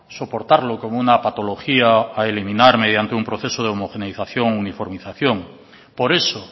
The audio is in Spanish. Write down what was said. soportarlo como una patología a eliminar mediante un proceso de homogeneización e uniformización por eso